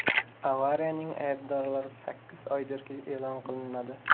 Avariyaning aybdorlari sakkiz oydirki, e’lon qilinmadi.